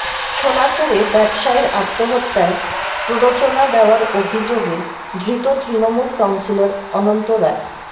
সোনারপুরে ব্যবসায়ীর আত্মহত্যায় প্ররোচনা দেওয়ার অভিযোগে ধৃত তৃণমূল কাউন্সিলর অনন্ত রায়